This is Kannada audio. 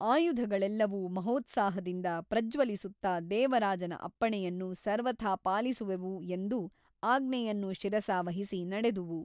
ಆಯುಧಗಳೆಲ್ಲವೂ ಮಹೋತ್ಸಾಹದಿಂದ ಪ್ರಜ್ವಲಿಸುತ್ತಾ ದೇವರಾಜನ ಅಪ್ಪಣೆಯನ್ನು ಸರ್ವಥಾ ಪಾಲಿಸುವೆವು ಎಂದು ಆಜ್ಞೆಯನ್ನು ಶಿರಸಾವಹಿಸಿ ನಡೆದುವು.